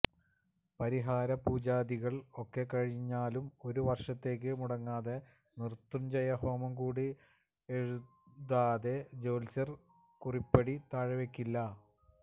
പരിഹാരപൂജാദികൾ ഒക്കെ കഴിഞ്ഞാലുംഒരു വർഷത്തേക്ക് മുടങ്ങാതെ മൃത്യുഞ്ജയ ഹോമം കൂടി എഴുതാതെ ജ്യോത്സ്യര് കുറിപ്പടി താഴെവെയ്ക്കില്ല